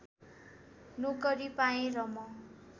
नोकरी पाएँ र म